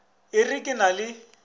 o re ke na le